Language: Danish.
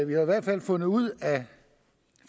vi har i hvert fald fundet ud af